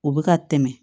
U bɛ ka tɛmɛ